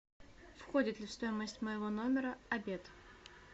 входит ли в стоимость моего номера обед